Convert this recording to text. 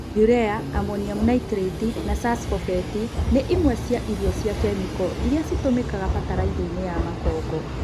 Urea, Amoniamu naitrĩti na supsbobeti nĩ imwe cia irio cia kemĩko iria citũmĩkaga bataraithainĩ ya makongo.